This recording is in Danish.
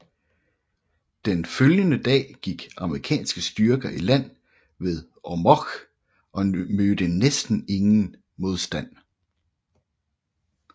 Den følgende dag gik amerikanske styrker i land ved Ormoc og mødte næsten ingen modstand